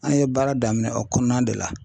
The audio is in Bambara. An ye baara daminɛn o kɔnɔna de la.